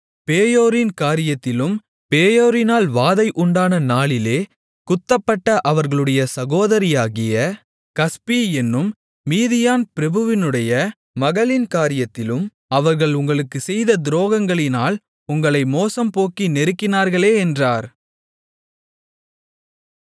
பேயோரின் காரியத்திலும் பேயோரினால் வாதை உண்டான நாளிலே குத்தப்பட்ட அவர்களுடைய சகோதரியாகிய கஸ்பி என்னும் மீதியான் பிரபுவினுடைய மகளின் காரியத்திலும் அவர்கள் உங்களுக்குச் செய்த துரோகங்களினால் உங்களை மோசம்போக்கி நெருக்கினார்களே என்றார்